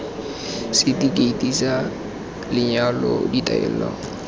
seti keiti sa lenyalo ditaelo